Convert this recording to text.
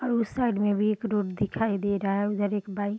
और उसे साइड में भी एक रोड दिखाई दे रहा है उधर एक बाइक --